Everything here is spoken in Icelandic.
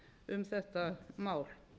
um þetta mál